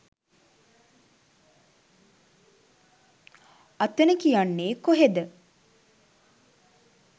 අතන කියන්නේ කොහෙද